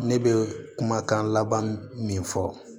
Ne bɛ kumakan laban min fɔ